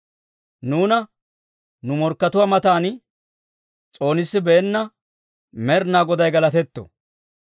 Nuuna nu morkkatuwaa matan, s'oonissibeenna Med'inaa Goday galatetto.